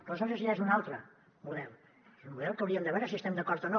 aleshores ja és un altre model és un model que hauríem de veure si hi estem d’acord o no